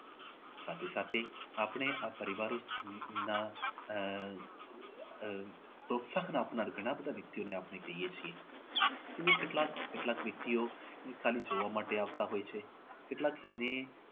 સાથે સાથે આપણે આ પરિવારને પણ ના આહ આહ ઘણા બધા વ્યક્તિઓ આપણે કહીએ છીએ કે તેઓ કેટલાક કેટલાક વ્યક્તિઓ ખાલી જોવા માટે આવતા હોય છે અને કેટલા એવી